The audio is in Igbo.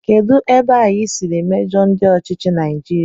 Kedụ ebe anyị siri mejọọ ndị ọchịchị Naijiria?